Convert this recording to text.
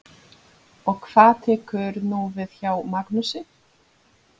Og hvað tekur nú við hjá Magnúsi?